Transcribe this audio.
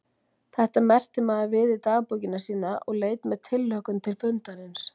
Þetta merkti maður við í dagbókina sína og leit með tilhlökkun til fundarins.